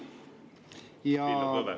Villu Kõve.